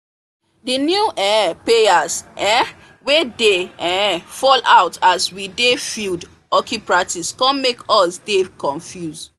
the new um payers um wey dey um fall out as we dey field hockey practice come make us dey confuse